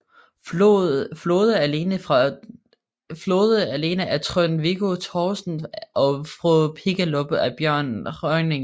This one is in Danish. Flode alene af Trond Viggo Torgersen og Fru Pigalopp af Bjørn Rønningen